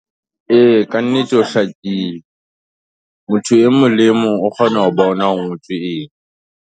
E ka nnete ho hlakile, motho e mong le e mong, o kgona ho bona hore ho ngotswe eng.